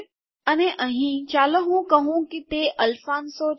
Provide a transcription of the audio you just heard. અને અહીં ચાલો હું કહું કે તે અલ્ફાન્શો છે